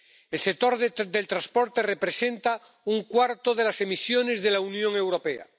El sector del transporte representa un cuarto de las emisiones de la Unión Europea.